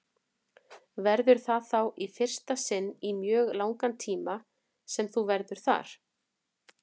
Verður það þá í fyrsta sinn í mjög langan tíma sem þú verður þar?